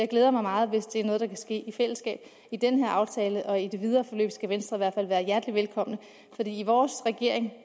glæder mig meget hvis det er noget der kan ske i fællesskab i den her aftale og i det videre forløb skal venstre i hvert fald være hjertelig velkommen for i vores regering er